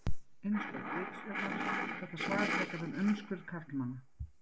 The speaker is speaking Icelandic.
Innskot ritstjórnar: Þetta svar fjallar um umskurð karlmanna.